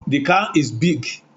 The car is big